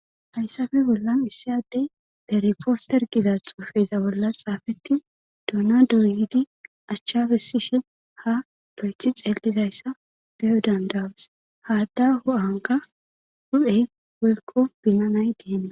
Hayssafe bollan issi adey derpooster giza xoufeza bolla xaafettin duuna doryidi achchabessishe ha doyethi xeellizayssa beyo dandawes haadda hu7anka hu7ey welko binanay diene